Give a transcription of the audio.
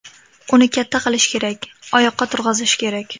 Uni katta qilish kerak, oyoqqa turg‘azish kerak.